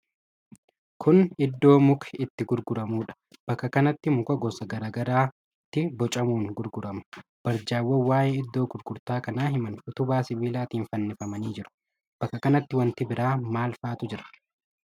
Kun iddoo muki itti gurguramuudha. Bakka kanatti muka gosa garaa garaatti bocamuun gurgurama. Barjaawwan waa'ee iddoo gurgurtaa kanaa himan utubaa sibiilaatiin fannifamanii jiru. Bakka kanatti wanti biraa maal fa'aatu jira?